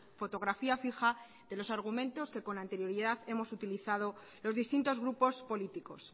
fotografía fija de los argumentos que con anterioridad hemos utilizado los distintos grupos políticos